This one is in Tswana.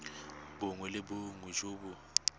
bongwe le bongwe jo bo